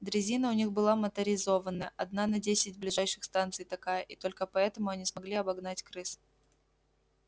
дрезина у них была моторизованная одна на десять ближайших станций такая и только поэтому они смогли обогнать крыс